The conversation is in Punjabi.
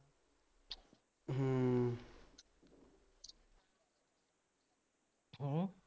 ਹੂੰ